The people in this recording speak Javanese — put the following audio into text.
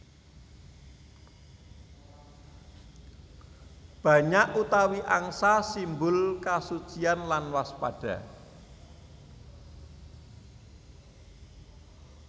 Banyak utawi angsa simbol kasucian lan waspada